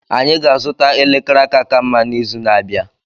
Anyị ga-azụta elekere aka ka mma n'izu na-abịa.